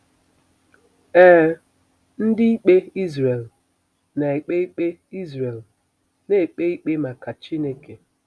Ee, ndị ikpe Izrel na-ekpe ikpe Izrel na-ekpe ikpe maka Chineke.